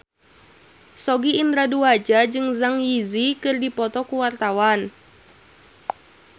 Sogi Indra Duaja jeung Zang Zi Yi keur dipoto ku wartawan